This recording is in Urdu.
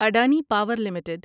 Adani power limited